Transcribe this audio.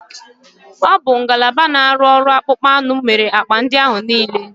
Ọ bụ ngalaba na-arụ ọrụ akpụkpọ anụ mere akpa ndị ahụ niile.